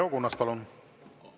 Leo Kunnas, palun!